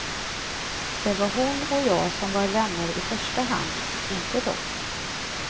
Det var hon och jag som var vänner i första hand, inte dom.